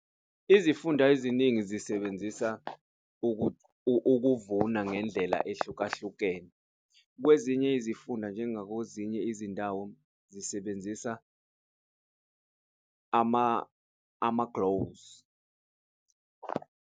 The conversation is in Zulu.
Izifunda eziningi zisebenzisa ukuvuna ngendlela ehlukahlukene, kwezinye izifunda njengako ezinye izindawo zisebenzisa .